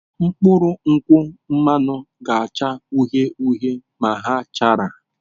Mkpụrụ nkwụ mmanụ ga-acha uhie uhie ma ha chara.